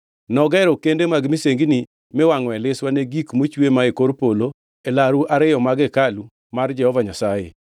Nogero kende mag misengini miwangʼoe liswa ne gik mochwe mae kor polo e laru ariyo mag hekalu mar Jehova Nyasaye.